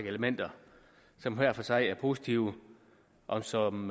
elementer som hver for sig er positive og som